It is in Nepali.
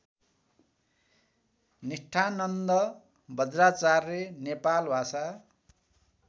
निष्ठानन्द बज्राचार्य नेपालभाषा